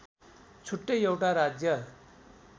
छुट्टै एउटा राज्य